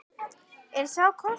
Er sá kostur tækur?